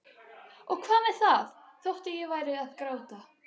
Og hvað með það þótt ég færi að gráta?